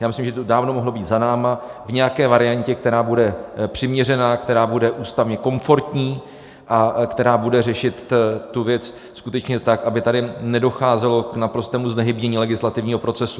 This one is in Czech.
Já myslím, že to dávno mohlo být za námi v nějaké variantě, která bude přiměřená, která bude ústavně komfortní a která bude řešit tu věc skutečně tak, aby tady nedocházelo k naprostému znehybnění legislativního procesu.